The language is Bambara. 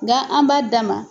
Nka an b'a d'a ma.